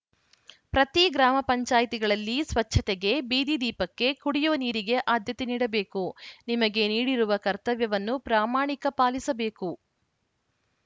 ಪ್ರತಿ ಗ್ರಾಮ ಪಂಚಾಯತ್ ಗಳಲ್ಲಿ ಸ್ವಚ್ಛತೆಗೆ ಬೀದಿ ದೀಪಕ್ಕೆ ಕುಡಿಯುವ ನೀರಿಗೆ ಆದ್ಯತೆ ನೀಡಬೇಕು ನಿಮಗೆ ನೀಡಿರುವ ಕರ್ತವ್ಯವನ್ನು ಪ್ರಾಮಾಣಿಕ ಪಾಲಿಸಬೇಕು